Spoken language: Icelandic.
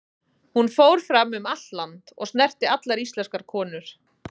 Hún fór fram um allt land, og snerti allar íslenskar konur.